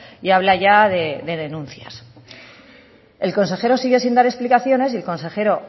y habla ya de denuncias el consejero sigue sin dar explicaciones y el consejero